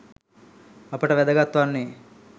අපට වැදගත් වන්නේ